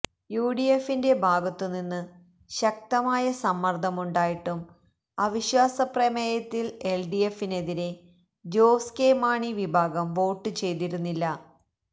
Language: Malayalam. യുഡിഎഫിന്റെ ഭാഗത്തുനിന്ന് ശക്തമായ സമ്മര്ദ്ദമുണ്ടായിട്ടും അവിശ്വാസ പ്രമേയത്തില് എല്ഡിഎഫിനെതിരേ ജോസ് കെ മാണി വിഭാഗം വോട്ട് ചെയ്തിരുന്നില്ല